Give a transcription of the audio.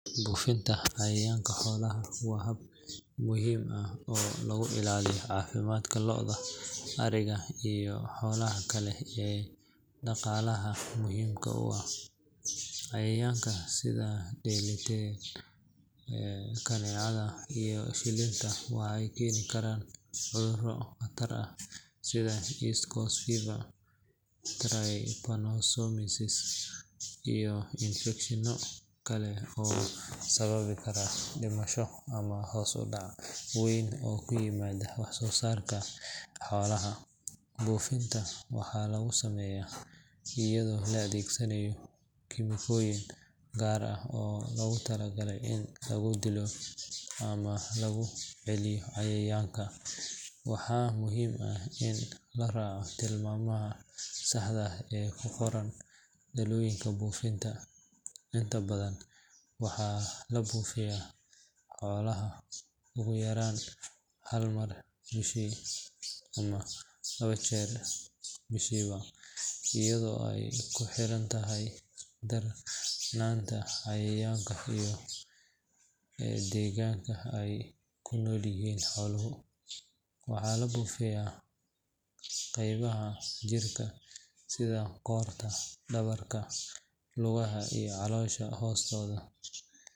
Buufinta cayayaanka xoolaha waa hab muhiim ah oo lagu ilaaliyo caafimaadka lo’da, ariga, iyo xoolaha kale ee dhaqaalaha muhiimka u ah. Cayayaanka sida dhillinta, kaneecada iyo shilinta waxay keeni karaan cudurro khatar ah sida East Coast Fever, Trypanosomiasis, iyo infekshanno kale oo sababi kara dhimasho ama hoos u dhac weyn oo ku yimaada wax soo saarka xoolaha. Buufinta waxaa lagu sameeyaa iyadoo la adeegsanayo kiimikooyin gaar ah oo loogu talagalay in lagu dilo ama laga celiyo cayayaanka, waxaana muhiim ah in la raaco tilmaamaha saxda ah ee ku qoran dhalooyinka buufinta. Inta badan waxaa la buufiyaa xoolaha ugu yaraan hal mar bishii ama laba jeer bishiiba iyadoo ay ku xiran tahay darnaanta cayayaanka iyo deegaanka ay ku nool yihiin xooluhu. Waxaa la buufiyaa qaybaha jirka sida qoorta, dhabarka, lugaha iyo caloosha hoosteeda.